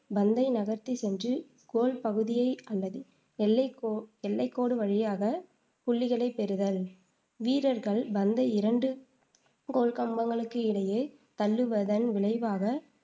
பந்தை நகர்த்திச் சென்று கோல் பகுதியை அல்லது எல்லைக் கோ எல்லைக் கோடு வழியாக புள்ளிகளைப் பெறுதல் வீரகள் பந்தை இரண்டு கோல்கம்பங்களுக்கு இடையே தள்ளுவதன் விளைவாக